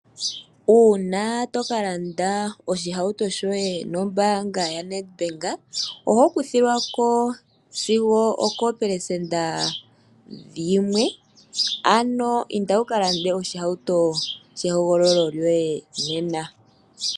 Uuna tokalanda oshihauto shoye nombaanga yaNedbank oho kuthilwako sigo ookopelesenda yimwe ano inda wukalande oshihauto shehogololo loye nena.